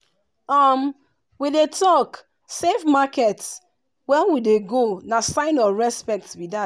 um we dey talk “safe market” when we dey go na sign of respect be that.